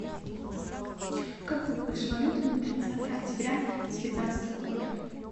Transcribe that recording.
какой курс валюты на тридцатое октября девятнадцатого года